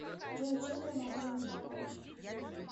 джой чем я могу вам помочь